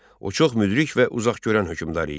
O çox müdrik və uzaqgörən hökmdar idi.